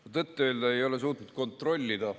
Ma tõtt-öelda ei ole suutnud kontrollida ...